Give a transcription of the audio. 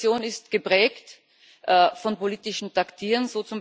Die Situation ist geprägt von politischem Taktieren.